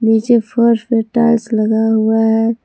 नीचे फर्श में टाइल्स लगा हुआ है।